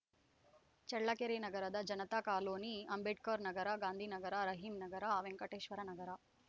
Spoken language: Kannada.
ಚಳ್ಳಕೆರೆ ನಗರದ ಜನತಾ ಕಾಲೋನಿ ಅಂಬೇಡ್ಕರ್‌ ನಗರ ಗಾಂಧಿನಗರ ರಹೀಂನಗರ ವೆಂಕಟೇಶ್ವರನಗರ